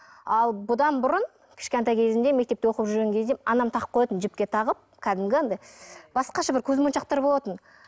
ал бұдан бұрын кішкентай кезімде мектепте оқып жүрген кезде анам тағып қоятын жіпке тағып кәдімгі анандай басқаша бір көзмоншақтар болатын